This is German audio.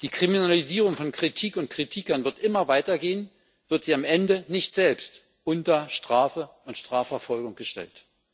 Die Kriminalisierung von Kritik und Kritikern wird immer weiter gehen, wird sie am Ende nicht selbst unter Strafe und Strafverfolgung gestellt.